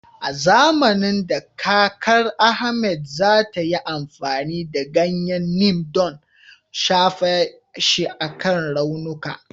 A zamanin da, kakar Ahmed za ta yi amfani da ganyen Neem don, shafa shi akan raunuka.